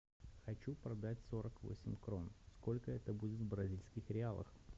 хочу продать сорок восемь крон сколько это будет в бразильских реалах